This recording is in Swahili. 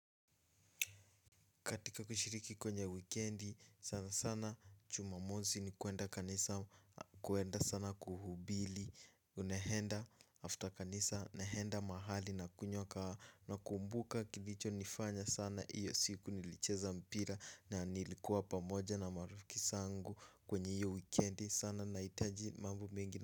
Katika kushiriki kwenye wikendi sana sana jumamosi ni kuenda kanisa kuenda sana kuhubili. Unehenda after kanisa nehenda mahali na kunyoka na kumbuka kilicho nifanya sana iyo siku nilicheza mpira na nilikuwa pamoja na marufiki sangu kwenye iyo weekendi sana na itaji mambu mingi.